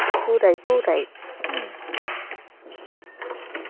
ওটাই পুরোটাই.